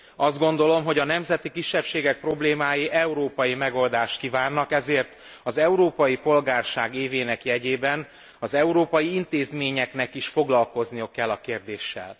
Azt gondolom, hogy a nemzeti kisebbségek problémái európai megoldást kívánnak, ezért az európai polgárság évének jegyében az európai intézményeknek is foglalkozniuk kell a kérdéssel.